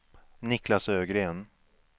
Niklas Ögren